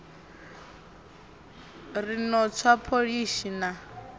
ri no tswa pholishi na